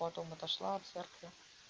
потом отошла от церкви